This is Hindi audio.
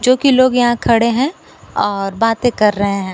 जो कि लोग यहां खड़े हैं और बातें कर रहे हैं।